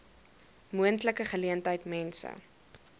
moontlike geleentheid mense